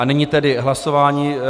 A nyní tedy hlasování.